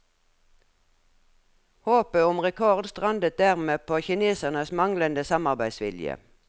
Håpet om rekord strandet dermed på kinesernes manglende samarbeidsvilje.